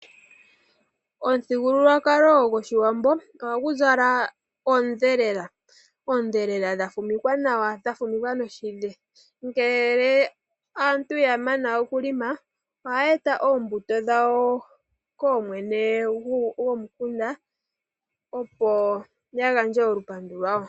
Omithigululwakalo goshiwambo ohagu zala oondhelela, oondhelela dha fumikwa nawa noshidhe. Ngele aantu ya mana okulonga ohaya eta oombuto dhawo koomwene gomunkunda, opo ya gandje olupandu lwawo.